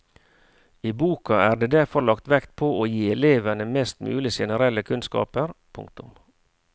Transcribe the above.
I boka er det derfor lagt vekt på å gi elevene mest mulig generelle kunnskaper. punktum